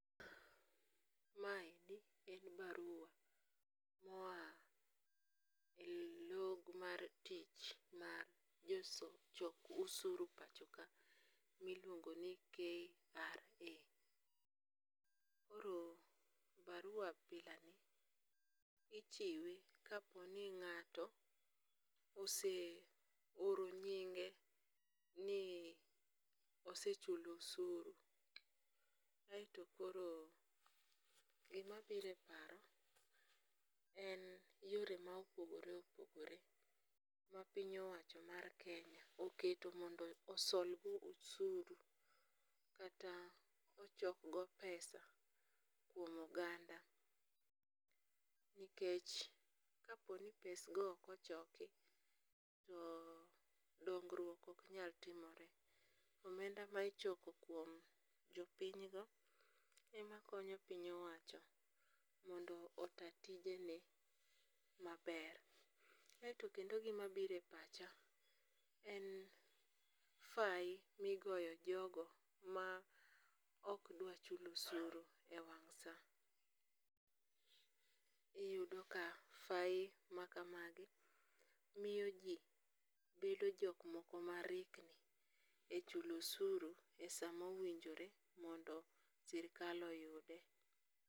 Maendi en barua moa e log mar tich mar jochok osuru e pacho ka miluongo ni KRA, koro barua abilani ichiwe ka po ni ng'ato ose oro nyinge ni osechulo osuru, kaeto koro gimabiro e paro en yore ma opogore opogore ma piny owacho mar Kenya oketo mondo osolgo osuru kata ochokgo pesa kuom oganda nikech kaponi pesgo okochoki to dong'ruok ok nyal timore, omenda ma ichoko kuom jo pinyno emakonyo piny owacho mondo ota tijene maber aeto kendo gimabiro epacha, en fai migoyo jogo ma ok dwa chulo osuru e wang' saa, iyudo ka fain makamagi miyoji bedo jokmoko ma rikni e chulo suru e saa mowinjore mondo sirikal oyude.